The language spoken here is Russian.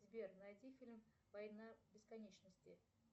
сбер найди фильм война бесконечности